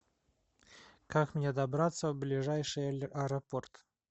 как мне добраться в ближайший аэропорт